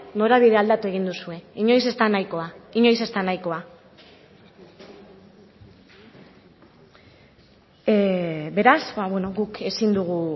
norabidea aldatu egin duzue inoiz ez da nahikoa inoiz ez da nahikoa beraz guk ezin dugu